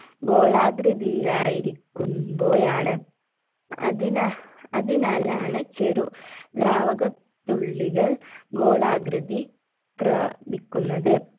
ഗോളാകൃതിയിലായിരിക്കുമ്പോഴാണ് അതിനാ അതിനാലാണ് ചെറു ദ്രാവക തുള്ളികൾ ഗോളാകൃതി പ്രാ പിക്കുന്നത്